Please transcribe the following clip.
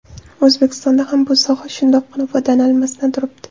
O‘zbekistonda ham bu soha shundoqqina foydalanilmasdan turibdi.